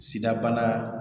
Sidabana